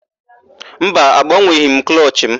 Mba, agbanweghị m klọchị mụ.